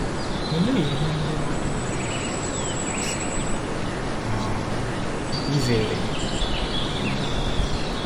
Olee ihe ndị mmadụ mbụ mmadụ mbụ kwesiri um izere? um